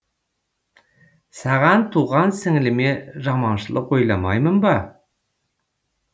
саған туған сіңіліме жаманшылық ойламаймын ба